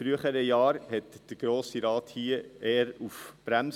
In früheren Jahren drückte der Grosse Rat hier eher auf die Bremse.